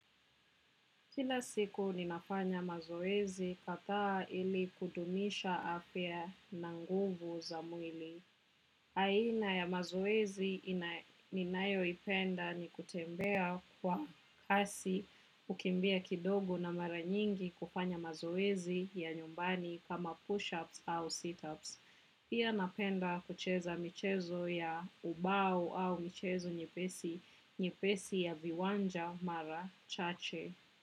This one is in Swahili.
Kila siku ninafanya mazoezi kadhaa ili kudumisha afya na nguvu za mwili. Aina ya mazoezi ninayoipenda ni kutembea kwa kasi, kukimbia kidogo na mara nyingi kufanya mazoezi ya nyumbani kama push-ups au sit-ups. Pia napenda kucheza michezo ya ubau au michezo nyepesi ya viwanja mara chache.